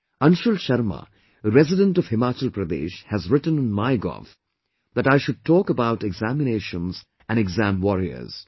Anshul Sharma, resident of Himachal Pradesh has written on MyGov that I should talk about examinations and Exam Warriors